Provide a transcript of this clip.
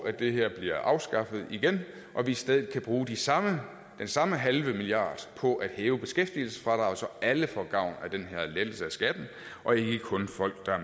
at det her bliver afskaffet igen og vi i stedet kan bruge den samme samme halve milliard på at hæve beskæftigelsesfradraget så alle får gavn af den her lettelse af skatten og ikke kun folk der er